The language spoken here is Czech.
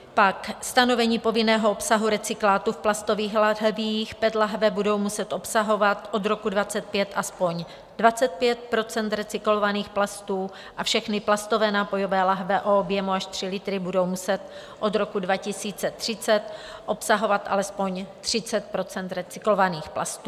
Pak stanovení povinného obsahu recyklátu v plastových láhvích - PET láhve budou muset obsahovat od roku 2025 aspoň 25 % recyklovaných plastů a všechny plastové nápojové láhve o objemu až 3 litry budou muset od roku 2030 obsahovat alespoň 30 % recyklovaných plastů.